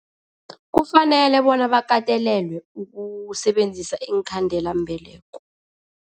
Kufanele bona bakatelelwe ukusebenzisa iinkhandelambeleko.